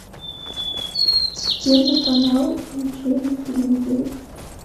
первый канал включи на телевизоре